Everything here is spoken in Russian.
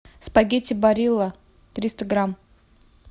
спагетти барилла триста грамм